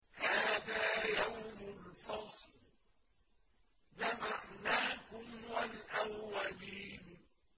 هَٰذَا يَوْمُ الْفَصْلِ ۖ جَمَعْنَاكُمْ وَالْأَوَّلِينَ